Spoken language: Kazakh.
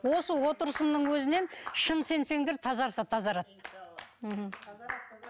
осы отырысымның өзінен шын сенсеңдер тазарса тазарады мхм